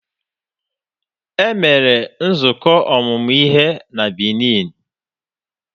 E mere nzukọ ọmụmụ ihe na Benin.